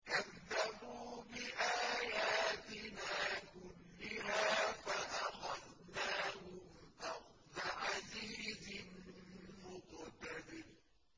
كَذَّبُوا بِآيَاتِنَا كُلِّهَا فَأَخَذْنَاهُمْ أَخْذَ عَزِيزٍ مُّقْتَدِرٍ